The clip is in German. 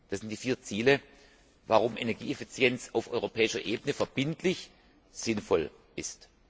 Das sind die vier Ziele, warum Energieeffizienz auf europäischer Ebene verbindlich sinnvoll ist.